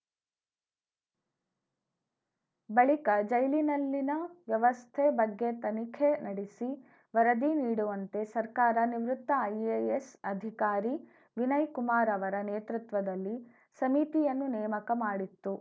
ಬಳಿಕ ಜೈಲಿನಲ್ಲಿನ ವ್ಯವಸ್ಥೆ ಬಗ್ಗೆ ತನಿಖೆ ನಡೆಸಿ ವರದಿ ನೀಡುವಂತೆ ಸರ್ಕಾರ ನಿವೃತ್ತ ಐಎಎಸ್‌ ಅಧಿಕಾರಿ ವಿನಯ್‌ಕುಮಾರ್‌ ಅವರ ನೇತೃತ್ವದಲ್ಲಿ ಸಮಿತಿಯನ್ನು ನೇಮಕ ಮಾಡಿತ್ತು